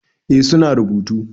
Eh su na rubutu.